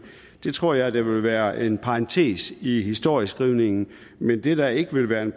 det tror jeg vil være en parentes i historieskrivningen mens det der ikke vil være en